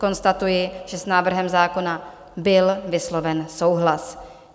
Konstatuji, že s návrhem zákona byl vysloven souhlas.